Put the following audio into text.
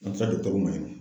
An sera ma yen.